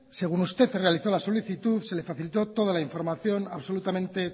según usted realizó la solicitud se le facilitó toda la información absolutamente